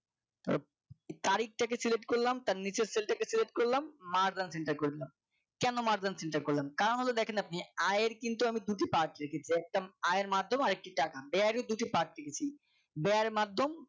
তারিখ থেকে Select করলাম তার নিচের cell টাকে Select করলাম Mark and centre করে দিলাম কেন Mark and centre করলাম কারণ দেখো কারণ হলো দেখেন আপনি আয়ের কিন্তু আমি দুটি part রেখেছি একটা আয়ের মাধ্যম আর একটা আর একটা টাকা ব্যয়েরও দুটি part রেখেছি ব্যয়ের মাধ্যম